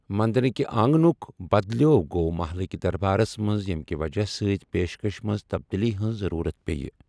مٔنٛدرِک آنٛگنُک بَدلِیٚو گوٚو مَحَلکِ دربارَس منٛز ییٚمکہِ وجہہ سۭتۍ پیشکشس منٛز تبدیٖلی ہٕنٛز ضروٗرت پیٚیہِ۔